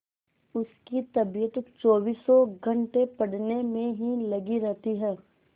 उसकी तबीयत चौबीसों घंटे पढ़ने में ही लगी रहती है